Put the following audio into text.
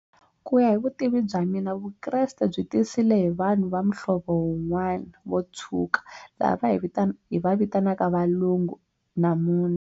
Ku ya hi vutivi bya mina Vukreste byi tisile hi vanhu va muhlovo wun'wana vo tshuka laha va hi hi va vitanaka valungu namuntlha.